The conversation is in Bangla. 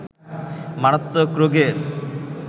মারাত্মক রোগের